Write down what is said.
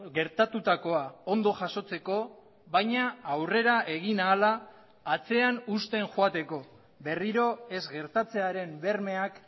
gertatutakoa ondo jasotzeko baina aurrera egin ahala atzean uzten joateko berriro ez gertatzearen bermeak